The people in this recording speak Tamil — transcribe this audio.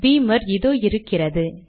பீமர் இதோ இருக்கிறது